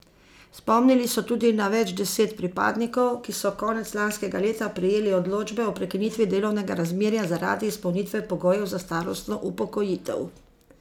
Spomnili so tudi na več deset pripadnikov, ki so konec lanskega leta prejeli odločbe o prekinitvi delovnega razmerja zaradi izpolnitve pogojev za starostno upokojitev.